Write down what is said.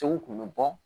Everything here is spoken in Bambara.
kun bɛ bɔ